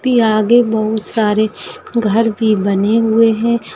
P आगे बहुत सारे घर भी बने हुए है।